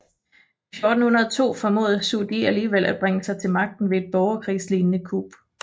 I 1402 formåede Zhu Di alligevel at bringe sig til magten ved et borgerkrigslignede kup